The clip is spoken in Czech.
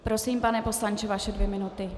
Prosím, pane poslanče, vaše dvě minuty.